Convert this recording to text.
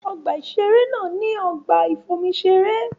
Ọgbà-ìṣeré náà ní ọgbà-ìfomiṣeré.